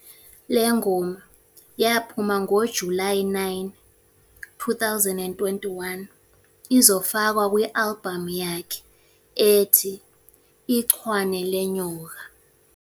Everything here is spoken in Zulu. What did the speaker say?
Le ngoma yaphuma ngoJulayi 9, 2021, izofakwa kwi-albhamu yakhe ethi "Ichwane Lenyoka".